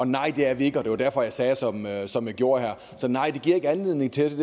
nej det er vi ikke og det var derfor jeg sagde som jeg gjorde her så nej det giver ikke anledning til